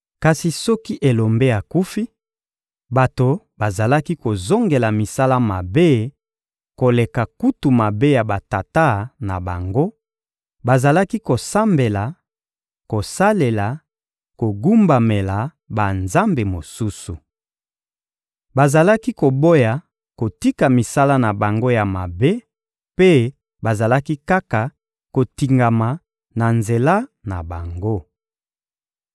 Kasi soki elombe akufi, bato bazalaki kozongela misala mabe koleka kutu mabe ya batata na bango; bazalaki kosambela, kosalela, kogumbamela banzambe mosusu. Bazalaki koboya kotika misala na bango ya mabe mpe bazalaki kaka kotingama na nzela na bango.